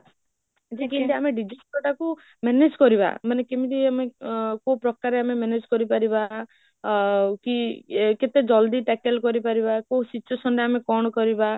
ଯେ କେମିତି ଆମେ disasterଟା କୁ manage କରିବା ମାନେ କେମିତି ଆମେ ଅ କୋଉ ପ୍ରକାରରେ ଆମେ manage କରି ପାରିବା ଆଉ କି ଏ କେତେ ଜଲ୍ଦି tackle କରି ପାରିଆବା କୋଉ situation ରେ ଆମେ କଣ କରିବା?